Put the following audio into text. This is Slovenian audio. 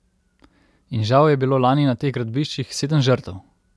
In žal je bilo lani na teh gradbiščih sedem žrtev!